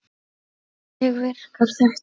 Hvernig virkar þetta?